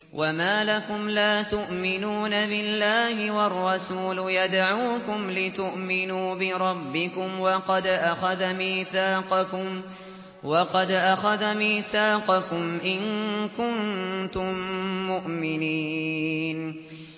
وَمَا لَكُمْ لَا تُؤْمِنُونَ بِاللَّهِ ۙ وَالرَّسُولُ يَدْعُوكُمْ لِتُؤْمِنُوا بِرَبِّكُمْ وَقَدْ أَخَذَ مِيثَاقَكُمْ إِن كُنتُم مُّؤْمِنِينَ